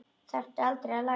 Þarftu aldrei að læra?